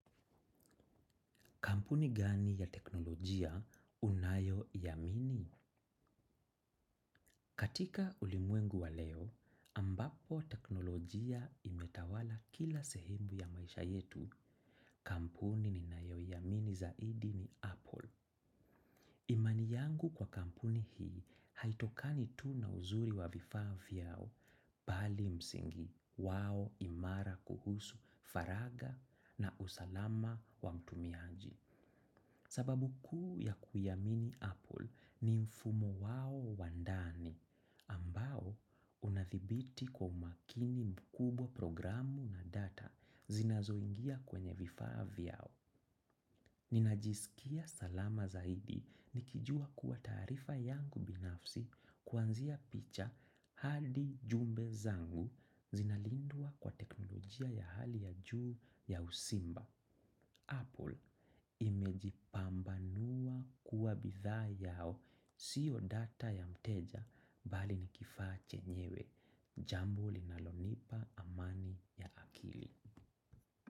Kampuni gani ya teknolojia unayoiamini. Katika ulimwengu wa leo, ambapo teknolojia imetawala kila sehemu ya maisha yetu kampuni ninayo yamini zaidi ni Apple. Imani yangu kwa kampuni hii, haitokani tu na uzuri wa vifaa vyao pali msingi wao imara kuhusu faraga na usalama wa mtumiaji. Sababu kuu ya kuyamini Apple ni mfumo wao wandani ambao unathibiti kwa umakini mkubwa programu na data zinazoingia kwenye vifaa vyao. Ninajisikia salama zaidi nikijua kuwa tarifa yangu binafsi kuanzia picha hadi jumbe zangu zinalindua kwa teknolojia ya hali ya juu ya usimba. Apple imejipambanua kuwa bitha yao siyo data ya mteja bali nikifache nyewe. Jambo linalonipa amani ya akili.